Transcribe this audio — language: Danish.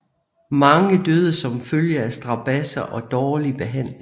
Mange døde som følge af strabadser og dårlig behandling